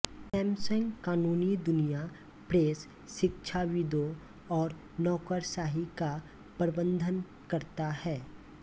Samsung कानूनी दुनिया press शिक्षाविदों और नौकरशाही का प्रबंधन करता है